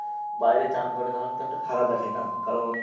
বাইরে স্নান করে তাহলে তো একটা খারাপ দেখায় না? কারণ